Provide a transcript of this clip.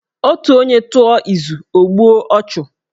Otu onye tụọ izu, o gbuo ọchụ